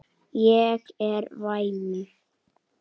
Hann verður þungur.